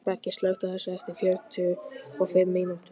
Beggi, slökktu á þessu eftir fjörutíu og fimm mínútur.